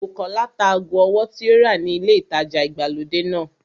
Bùkọ́lá ta ago ọwọ́ tí ó rà ni ilé ìtajà ìgbàlódé náà